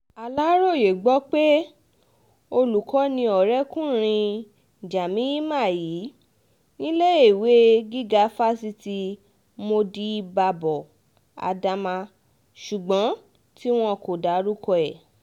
aláròye gbọ́ pé olùkọ́ ni ọ̀rẹ́kùnrin jamima yìí níléèwé gíga fásitì modibábo adama ṣùgbọ́n tí wọn kò dárúkọ ẹ̀